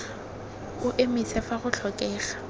o emise fa go tlhokega